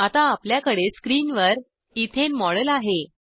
आता आपल्याकडे स्क्रीनवर इथेन मॉडेल आहे